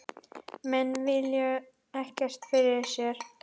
Menn víluðu ekkert fyrir sér.